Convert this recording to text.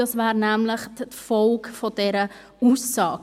dies wäre nämlich die Folge dieser Aussage.